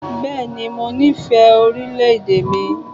Bẹẹni, mo nífẹ̀ẹ́ orílẹ̀-èdè mi.